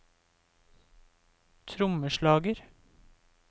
trommeslager